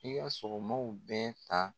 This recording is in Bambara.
I ka sɔgɔmaw bɛɛ ta